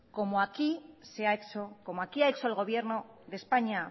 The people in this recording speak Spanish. como aquí ha hecho el gobierno de españa